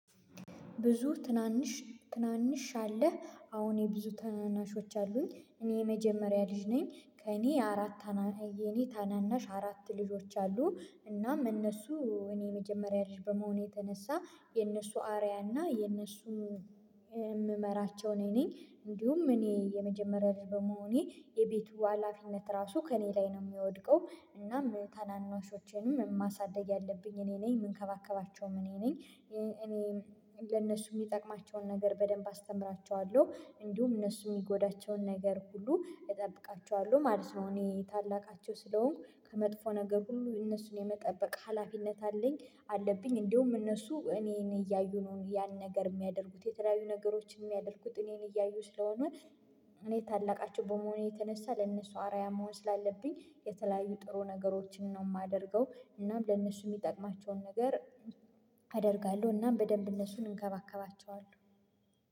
ብዙ ትናንሽ ትናንሽ አለ አሁን የብዙ ትናናሾች አሉኝ እኔ የመጀመሪያ ልጅ ነኝ ከእኔ አራት የኔ ታናናሽ አራት ልጆች አሉ እናም እነሱ እኔ የመጀመሪያ ልጅ በመሆኑ የተነሳ የነሱ አርያ እና የነሱም የምመራቸው እኔ ነኝ እንዲሁም እኔ የመጀመሪያ ልጅ በመሆኔ የቤቱ ሀላፊነት ራሱ ከእኔ ላይ ነው የሚወድቀው እናም ታናናሾቼንም ማሳደግ ያለብኝ እኔ ነኝ የምንከባከባቸውም እኔ ነኝ እኔ ለእነሱ የሚጠቅማቸውን ነገር በደንብ አስተምራቸዋለሁ እንዲሁም እነሱ የሚጎዳቸውን ነገር ሁሉ እጠብቃቸዋለሁ ማለት ነው። እኔ ታላቃቸው ስለሆንኩ ከመጥፎ ነገር ሁሉ እነሱን የመጠበቅ ሀላፊነት አለኝ አለብኝ እንዲሁም እነሱ እኔን እያዩ ነው ያን ነገር የሚያደርጉት የተለያዩ ነገሮችን የሚያደርጉት እኔን እያዩ ስለሆነ እኔ ታላቃቸው በመሆኔ የተነሳ ለእነሱ አርአያ መሆን ስላለብኝ። የተለያዩ ጥሩ ነገሮችን ነው የማደርገው እናም ለእነሱ የሚጠቅማቸውን ነገር አደርጋለሁ እናም በደንብ እነሱን እንከባከባቸዋለሁ።